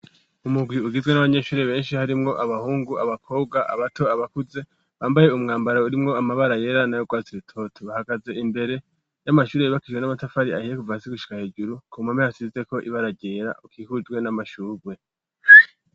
Umugwi ugizwe n'abanyeshuri benshi hari mwo abahungu abakobwa abato abakuze bambaye umwambaro uri mwo amabara yera na y'urwatsi bitoto bahagaze imbere y'amashuri ibakijwe n'amatafari ahiye kuvasigushika hejuru ku mame hasize ko ibaragera ukihujwe n'amashurwe.